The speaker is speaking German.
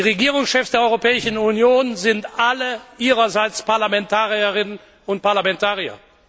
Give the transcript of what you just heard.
Die Regierungschefs der Europäischen Union sind alle ihrerseits Parlamentarierinnen und Parlamentarier.